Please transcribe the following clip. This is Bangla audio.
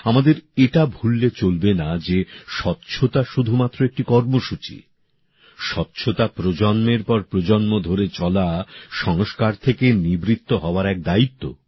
আমাদের এটা ভুললে চলবে না যে স্বচ্ছতা শুধুমাত্র একটি কর্মসূচি নয় স্বচ্ছতা প্রজন্মের পর প্রজন্ম ধরে চলা সংস্কার থেকে নিবৃত্ত হওয়ার এক দায়িত্ব